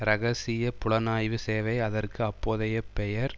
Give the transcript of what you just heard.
இரகசிய புலனாய்வு சேவை அதற்கு அப்போதைய பெயர்